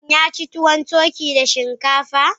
Shin ya ci tuwon turkey da shinkafa?